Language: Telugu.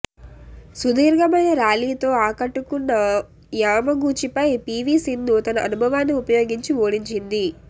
సుదీర్ఘమైన ర్యాలీతో ఆకట్టుకున్న యామగూచిపై పీవీ సింధు తన అనుభవాన్ని ఉపయోగించి ఓడించింది